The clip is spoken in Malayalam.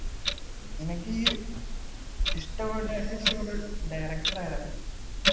നിനക്ക് ഈ ഇഷ്ടപ്പെട്ട ഏറ്റവും ഇഷ്ടപ്പെട്ട director ആരാ?